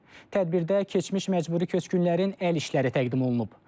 Tədbirdə keçmiş məcburi köçkünlərin əl işləri təqdim olunub.